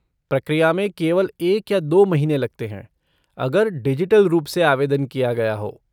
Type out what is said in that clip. प्रक्रिया में केवल एक या दो महीने लगते हैं, अगर डिजिटल रूप से आवेदन किया गया हो।